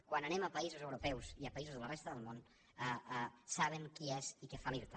quan anem a països europeus i a països de la resta del món saben qui és i què fa l’irta